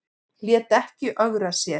Lét ekki ögra sér